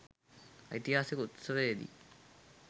ඓතිහාසික උත්සවයේදී